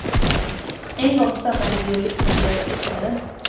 En gång stannade vi och lyssnade av tystnaden.